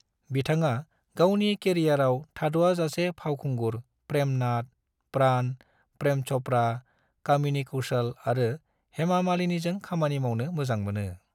बिथाङा गावनि केरियारआव थाद'आजासे फावखुंगुर प्रेम नाथ, प्राण, प्रेम चोपड़ा, कामिनी कौशल आरो हेमा मालिनीजों खामानि मावनो मोजां मोनो।